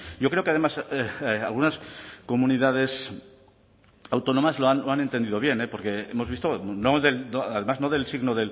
yo creo que además algunas comunidades autónomas lo han entendido bien porque hemos visto además no del signo